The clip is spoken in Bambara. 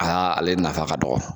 Aa ale nafa ka dɔgɔ.